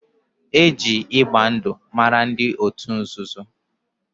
Eji ịgba ndụ mara ndị otu nzuzo